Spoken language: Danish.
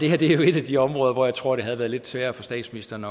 er jo et af de områder hvor jeg tror det havde været lidt sværere for statsministeren